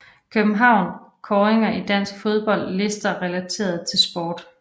København Kåringer i dansk fodbold Lister relateret til sport